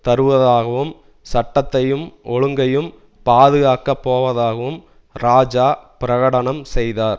தருவதாகவும் சட்டத்தையும் ஒழுங்கையும் பாதுகாக்க போவதாகவும் இராஜா பிரகடனம் செய்தார்